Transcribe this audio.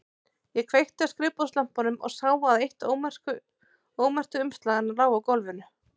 Ég kveikti á skrifborðslampanum og sá að eitt ómerktu umslaganna lá á gólfinu.